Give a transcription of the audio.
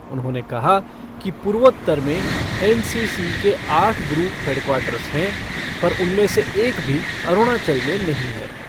उन्होंने कहा कि पूर्वोत्तर में एन सी सी के आठ ग्रुप हेडक्वार्टर्स हैं, पर उनमें से एक भी अरुणाचल में नहीं है।